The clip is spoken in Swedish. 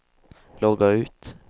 logga ut